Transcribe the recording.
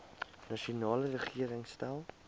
nasionale regering stel